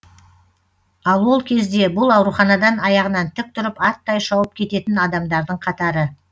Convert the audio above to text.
ал ол кезде бұл ауруханадан аяғынан тік тұрып аттай шауып кететін адамдардың қатары